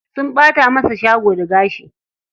Sun ɓata masa shago da gashi.